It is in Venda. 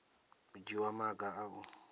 u dzhiwa maga a u